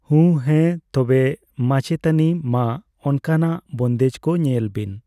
ᱦᱩᱸ᱾ ᱦᱮᱸ ᱛᱚᱵᱮ ᱢᱟᱪᱮᱛᱟᱱᱤ ᱢᱟ ᱚᱱᱠᱟᱱᱟᱜ ᱵᱚᱱᱫᱮᱡ ᱠᱚ ᱧᱮᱞ ᱵᱤᱱ᱾